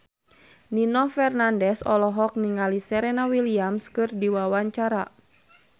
Nino Fernandez olohok ningali Serena Williams keur diwawancara